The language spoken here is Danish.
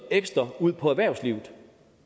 ud på erhvervslivet